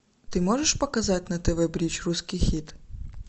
ты можешь показать на тв бридж русский хит